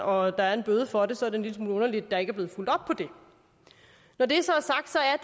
og der er en bøde for det så er det en lille smule underligt at der ikke er blevet fulgt op på det når det så